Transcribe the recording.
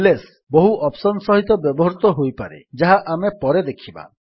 LS ବହୁ option ସହିତ ବ୍ୟବହୃତ ହୋଇପାରେ ଯାହା ଆମେ ପରେ ଦେଖିବା